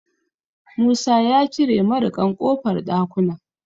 Musa ya cire mariƙan ƙofar ɗakunan.